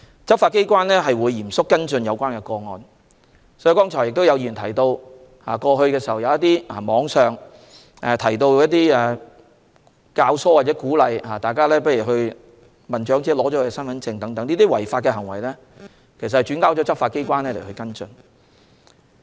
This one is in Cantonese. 執法機關會嚴肅跟進有關個案，剛才有議員提到，過去網上有人教唆或鼓動他人收起長者的身份證，這些違法行為已轉交執法機關跟進。